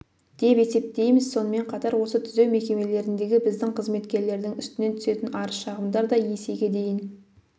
деп есептейміз сонымен қатар осы түзеу мекемелеріндегі біздің қызметкерлердің үстінен түсетін арыз-шағымдар да есеге дейін